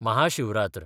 Maha Shivratri